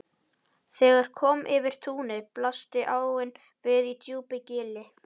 Þegar kom yfir túnið blasti áin við í djúpu gili.